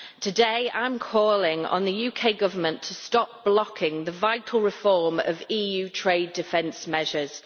Today I am calling on the UK Government to stop blocking the vital reform of EU trade defence measures.